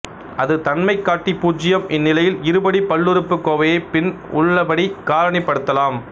அது தன்மைகாட்டி பூச்சியம் இந்நிலையில் இருபடி பல்லுறுப்புக் கோவையைப் பின் உள்ளபடி காரணிப்படுத்தலாம்